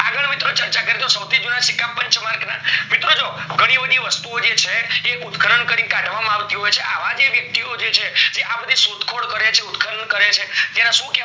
મિત્રો ચર્ચા કરજો સવથી જુના સિક્કા પચ્માંર્ક ના મિત્રો જો ઘણી બધી વસ્તુઓ જે છે ઉતરાણ કરીને કાઢવામાં આવતી હોય છે અવ જે વ્યક્તિઓ હોય છે જે આ બધી શોધ ખોલ કરે છે ઉત્ખન કરે છે એને સુ કેવા